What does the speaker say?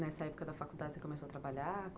Nessa época da faculdade você começou a trabalhar?